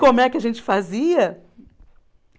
Como é que a gente fazia?